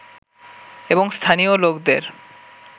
এবং স্থানীয় লোকদের